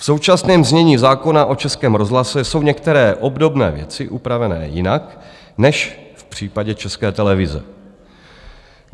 V současném znění zákona o Českém rozhlase jsou některé obdobné věci upravené jinak než v případě České televize.